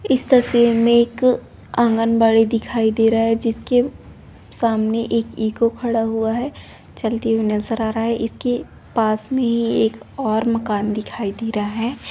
इस तस्वीर में एक आंगनबाड़ी दिखाई दे रहा है। जिसके सामने एक इको खड़ा हुआ है चलती हुई नजर आ रहा है। इसके पास में ही एक और मकान दिखाई दे रहा है।